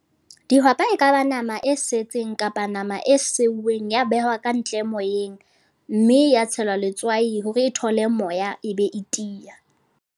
Dihwapa e kaba nama e setseng kapa nama e sebueng, ya behwa ka ntle moyeng. Mme ya tshelwa letswai hore e thole moya, e be e tiya.